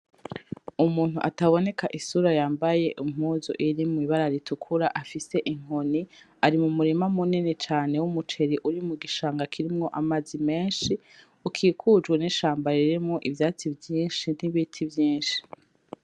Umuntu ataboneka isura yambaye impuzu iri mwibara ritukura afise inkoni ari mu murima munini cane w'umuceri uri mu gishanga kirimwo amazi meshi ukikujwe n'ishamba ririmwo ivyatsi vyishi n'ibiti vyishi.